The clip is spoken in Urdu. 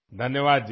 شکریہ جی